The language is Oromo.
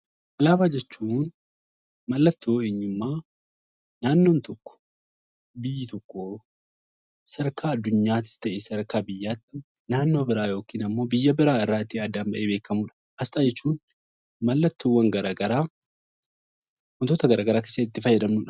Alaabaa jechuun mallattoo eenyummaa naannoon tokko, biyyi tokko sadarkaa addunyaattis ta'e sadarkaa biyyaatti naannoo biraa yookiin immoo biyya biraa irraa ittiin addaan ba'ee beekamuu dha. Asxaa jechuun mallattoowwan garaagaraa wantoota garaagaraa keessatti itti fayyadamnuu dha.